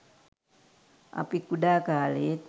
අපි කුඩා කාලයේත්